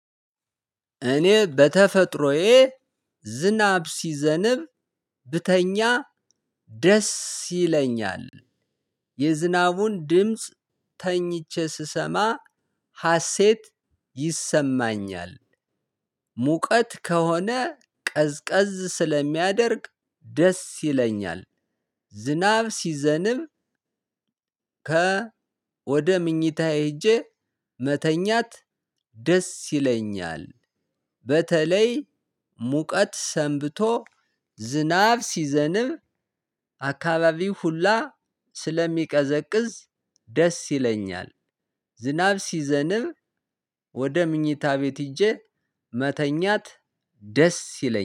እኔ በተፈጥሮዬ ዝናብ ሲዘንብ ብተኛ ደስ ይለኛል። የዝናቡን ድምጽ ተኝቼ ስሰማ ሀሴት ይሰማኛል። ሙቀት ከሆነ ቀዝቀዝ ስለሚያደርግ ደስ ይለኛል። ዝናብ ሲዘንብ ከ ወደ ምኞታዬ ሄጄ መተኛት ደስ ይለኛል። በተለይ ሙቀት ሰንብቶ ዝናብ ሲዘንብ አካባቢው ሁላ ስለሚቀዘቅዝ ደስ ይለኛል። ዝናብ ሲዘንብ ወደ ምኝታ ቤት ሄጄ መተኛት ደስ ይለኛል።